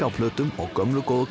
á plötum eða gömlu góðu